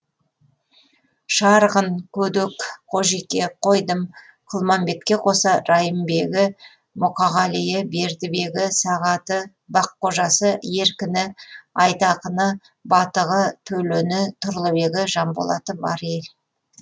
шарғын көдек қожеке қойдым құлмамбетке қоса райымбегі мұқағалиі бердібегі сағаты баққожасы еркіні айтақыны батығы төлені тұрлыбегі жанболаты бар ел